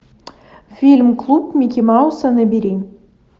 фильм клуб микки мауса набери